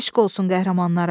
Eşq olsun qəhrəmanlara!